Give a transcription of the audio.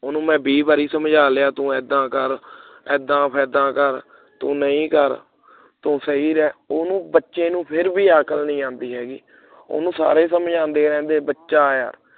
ਉਹਨੂੰ ਮੈਂ ਵੀ ਵਾਰੀ ਸਮਝਾ ਲਿਆ ਤੂੰ ਇੱਦਾਂ ਕਰ ਇੱਦਾਂ ਇੱਦਾਂ ਕਰ ਤੂੰ ਨਹੀਂ ਕਰ ਤੂੰ ਸਹੀ ਰਹਿ ਉਹਨੂੰ ਬੱਚੇ ਨੂੰ ਫੇਰ ਵੀ ਅਕਲ ਨਹੀਂ ਆਉਂਦੀ ਹੈਗੀ ਉਹਨੂੰ ਸਾਰੇ ਸਮਝਾਉਂਦੇ ਰਹਿੰਦੇ ਬਚਾ ਆ